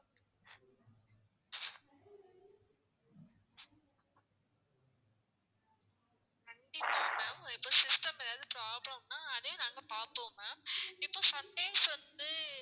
கண்டிப்பா ma'am இப்போ system ஏதாவது problem னா அதையும் நாங்க பார்ப்போம் ma'am இப்போ sometimes வந்து